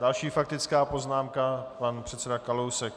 Další faktická poznámka pan předseda Kalousek.